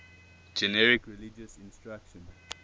generic religious instruction